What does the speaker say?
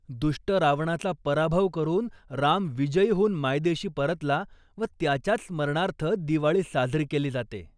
दुष्ट रावणाचा पराभव करून राम विजयी होऊन मायदेशी परतला व त्याच्याच स्मरणार्थ दिवाळी साजरी केली जाते.